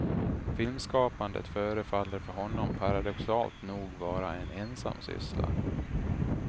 Filmskapande förefaller för honom paradoxalt nog vara en ensam syssla.